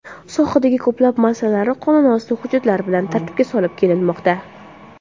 Sohadagi ko‘plab masalalar qonunosti hujjatlari bilan tartibga solib kelinmoqda.